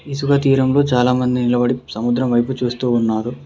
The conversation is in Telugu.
ఇసుక తీరంలో చాలామంది నిలబడి సముద్రం వైపు చూస్తూ ఉన్నారు.